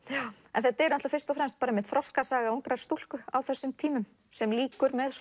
en þetta er fyrst og fremst þroskasaga ungrar stúlku á þessum tímum sem lýkur með